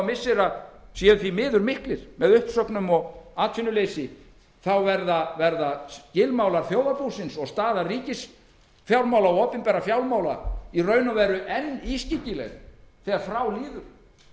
missira séu því miður miklir með uppsögnum og atvinnuleysi verða skilmálar þjóðarbúsins og staða ríkisfjármála og opinberra fjármála enn ískyggilegri þegar frá líður